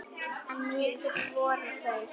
En mikil voru þau.